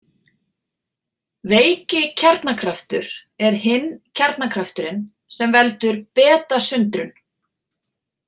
Veiki kjarnakraftur er hinn kjarnakrafturinn, sem veldur betasundrun.